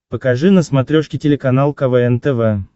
покажи на смотрешке телеканал квн тв